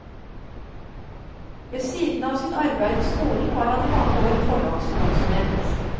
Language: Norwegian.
Ved siden av sitt arbeid i skolen var han i mange år forlagskonsulent.